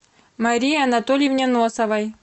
марии анатольевне носовой